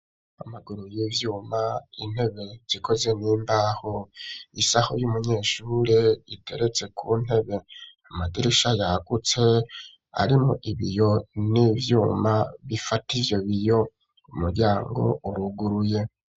Amaguru y'ivyuma intebe zikoze n'imbaho isaho y'umunyeshure iteretse ku ntebe amadirisha yagutse arimwo ibiyo n'ivyuma bifata ivyo biyo umuryango uruguruye.